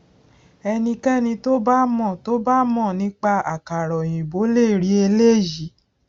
ẹnikéni tó bá mọ tó bá mọ nípa àkàrà òyìnbó le rí eléyìí